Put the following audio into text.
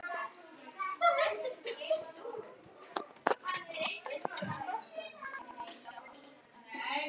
Lóa: Voru þetta mistök?